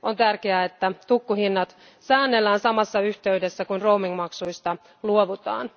On tärkeää, että tukkuhinnat säännellään samassa yhteydessä kuin roaming maksuista luovutaan.